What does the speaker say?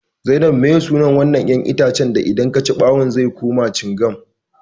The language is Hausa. Zainab meye sunan wannan 'yan itacen da idan kaci bawun zai kuma cingam?